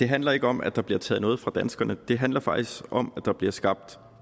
handler ikke om at der bliver taget noget fra danskerne det handler faktisk om at der bliver skabt